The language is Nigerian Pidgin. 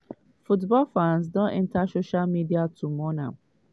football fans don enta social media to mourn am.